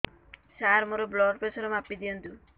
ସାର ମୋର blood pressure ମାପି ଦିଅନ୍ତୁ